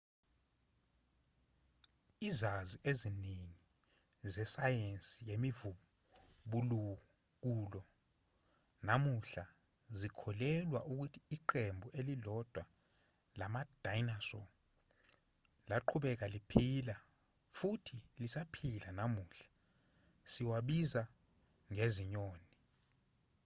izazi eziningi zesayensi yemivubukulo namuhla zikholelwa ukuthi iqembu elilodwa lama-dinosaur laqhubeka liphila futhi lisaphila namuhla siwabiza ngezinyoni